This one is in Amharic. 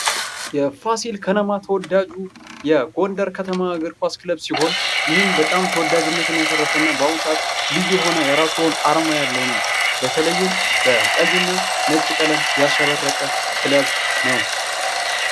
ፋሲል ከነማ ተወዳጁ የጎንደር ከተማ እግር ኳስ ክለብ ሲሆን ይህም ተወዳጅነት ያተረፈ እና በአሁኑ ሰዓት ልዩ የሆነ የእራሱ አርማ ያለው ነው። በተለይም በቀይና በነጭ ቀለም ያሸበረቀ ክለብ ነው ።